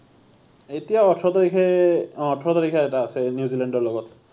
এতিয়া ওঁঠৰ তাৰিখে অ ওঁঠৰ তাৰিখে এটা আছে নিউজিলেণ্ডৰ লগত